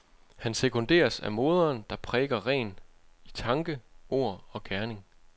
Han sekunderes af moderen, der præker ren i tanke, ord og gerning.